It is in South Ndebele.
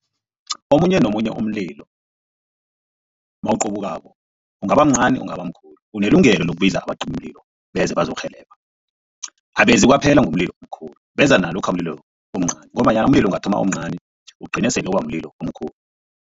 Omunye nomunye umlilo mawuqubukako ungaba mncani ungaba mkhulu unelungelo lokubiza abacimimlilo beze bazokurhelebha abezi kwaphela ngomlilo omkhulu beza nalokha umlilo umncani ngombanyana umlilo ungathoma omncani ugcine sele uba mlilo omkhulu.